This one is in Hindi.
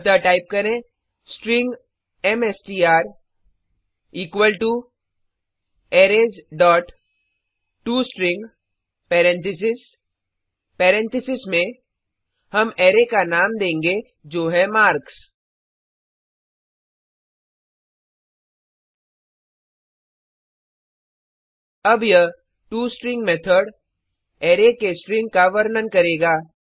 अतः टाइप करें string MSTR equal to arrays dot to string parenthesis parenthesis में हम अरै का नाम देंगे जो है मार्क्स अब यह टोस्ट्रिंग मेथड अराय के स्ट्रिंग का वर्णन करेगा